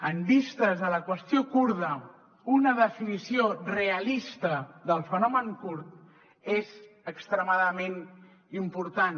en vistes a la qüestió kurda una definició realista del fenomen kurd és extremadament important